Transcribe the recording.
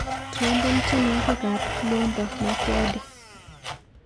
Trompen tyenwogikap Lwambo Makiadi.